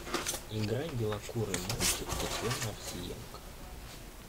играй белокурый мальчик татьяна овсиенко